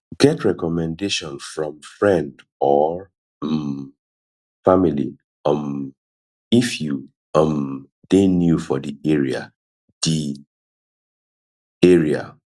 get recommendation from friend or um family um if you um dey new for di area di area